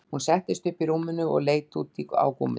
Hún settist upp í rúminu og leit út á gúmmítrén